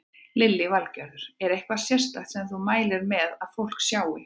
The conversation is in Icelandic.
Lillý Valgerður: Er eitthvað sérstakt sem þú mælir með því að fólk sjái?